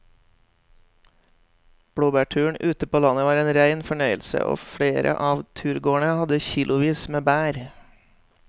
Blåbærturen ute på landet var en rein fornøyelse og flere av turgåerene hadde kilosvis med bær.